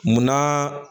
Mun na